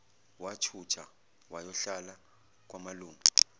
wathutha wayohlala kwamalume